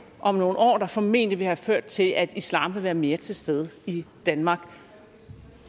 om nogle år der formentlig vil have ført til at islam vil være mere til stede i danmark